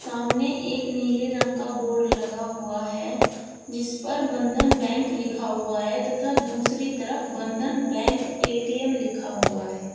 सामने एक नीले रंग का बोर्ड लगा हुआ है जिस पर बंधन बैंक लिखा हुआ है तथा दूसरी तरफ बंधन बैंक ए_टी_एम लिखा हुआ है।